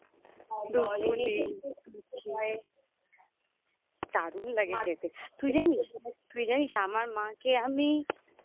দুধপুলি দারুণ লাগে খেতে তুই জানিস তুই জানিস আমার মাকে আমি